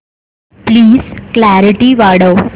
please clarity वाढव